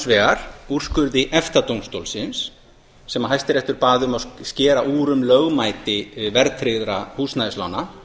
vegar úrskurði efta dómstólsins sem hæstiréttur bað um að skera úr um lögmæti verðtryggðra húsnæðislána